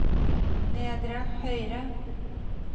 nedre høyre